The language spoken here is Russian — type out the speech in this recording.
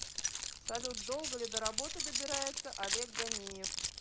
салют долго ли до работы добирается олег ганеев